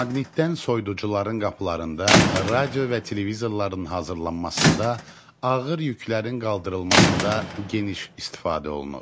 Maqniddən soyuducuların qapılarında, radio və televizorların hazırlanmasında, ağır yüklərin qaldırılmasında geniş istifadə olunur.